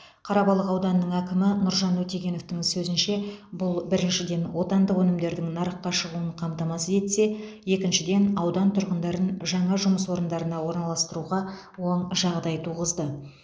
қарабалық ауданының әкімі нұржан өтегеновтің сөзінше бұл біріншіден отандық өнімдердің нарыққа шығуын қамтамасыз етсе екіншіден аудан тұрғындарын жаңа жұмыс орындарына орналастыруға оң жағдай туғызды